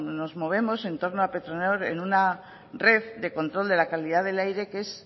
nos movemos entorno a petronor en una red de control de la calidad del aire que es